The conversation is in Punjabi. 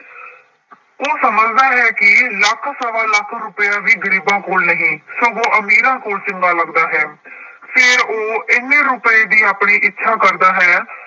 ਉਹ ਸਮਝਦਾ ਹੈ ਕਿ ਲੱਖ ਸਵਾ ਲੱਖ ਰੁਪਇਆ ਵੀ ਗ਼ਰੀਬਾਂ ਕੋਲ ਨਹੀਂ ਸਗੋਂ ਅਮੀਰਾਂ ਕੋਲ ਚੰਗਾ ਲੱਗਦਾ ਹੈ ਫਿਰ ਉਹ ਇੰਨੇ ਰੁਪਏ ਦੀ ਆਪਣੀ ਇੱਛਾ ਕਰਦਾ ਹੈ।